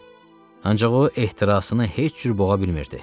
Ancaq o ehtirasını heç cür boğa bilmirdi.